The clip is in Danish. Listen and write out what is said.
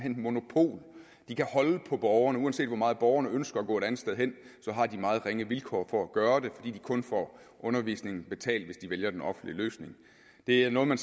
monopol de kan holde på borgerne uanset hvor meget borgerne ønsker at gå et andet sted hen har de meget ringe vilkår for at gøre det fordi de kun får undervisningen betalt hvis de vælger den offentlige løsning det er noget man